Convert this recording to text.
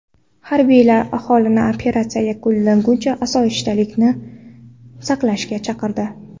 Harbiylar aholini operatsiya yakunlanguncha osoyishtalikni saqlashga chaqirdi.